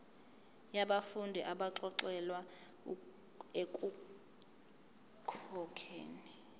yabafundi abaxolelwa ekukhokheni